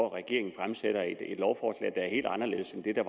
at regeringen fremsætter et lovforslag der er helt anderledes end det der